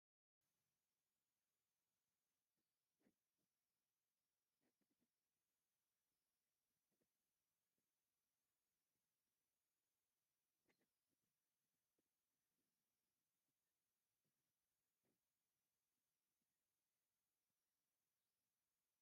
እዚ ኤሌከትሮኒክስ እስተሽነሪ ኮይና እዛ ዓይነት መሳርሒ ድማ ፕሪንተር እያ። እዛ ፕረንተር ድማ ኢፕሶን ትባሃል። እዛ ፕሪንተር እዚኣ ቡዙሕ ወረቀት ኤ4 ዝባሃል ክንጥቀመላ ንክእል ኢና።